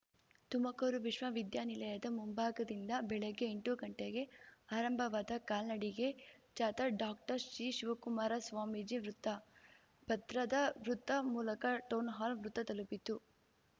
ತುಮಕೂರು ವಿಶ್ವವಿದ್ಯಾನಿಲಯದ ಮುಂಭಾಗದಿಂದ ಬೆಳಿಗ್ಗೆ ಎಂಟು ಗಂಟೆಗೆ ಆರಂಭವಾದ ಕಾಲ್ನಡಿಗೆ ಜಾಥಾ ಡಾಕ್ಟರ್ ಶ್ರೀ ಶಿವಕುಮಾರ ಸ್ವಾಮೀಜಿ ವೃತ್ತ ಭದ್ರ ವೃತ್ತ ಮೂಲಕ ಟೌನ್‌ಹಾಲ್ ವೃತ್ತ ತಲುಪಿತು